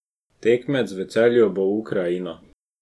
Tekmec v Celju bo Ukrajina.